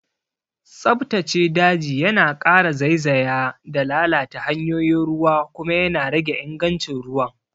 Tsabtace daji yana ƙara zaizaya da lalata hanyoyin ruwa kuma yana rage ingancin ruwan.